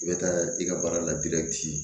I bɛ taa i ka baara la